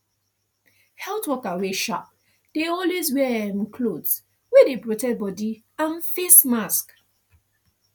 health worker wey sharp dey always wear um cloth wey dey protect body and face mask